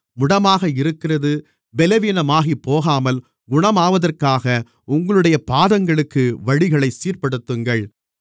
முடமாக இருக்கிறது பெலவீனமாகிப்போகாமல் குணமாவதற்காக உங்களுடைய பாதங்களுக்கு வழிகளைச் சீர்ப்படுத்துங்கள்